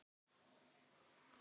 Sum góð, önnur vond.